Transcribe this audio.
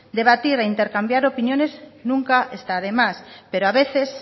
debatir e intercambiar opiniones nunca está de más pero a veces